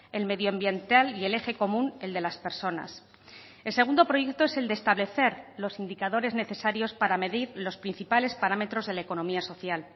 el medio ambiental y el eje común el de las personas el segundo proyecto es el de establecer los indicadores necesarios para medir los principales parámetros de la economía social